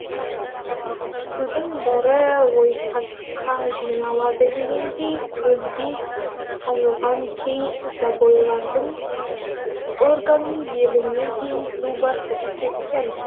судың бәрі ойпатқа жиналады дегендей көлбей қазылған кей забойлардың орган беліне дейін су басып кеткен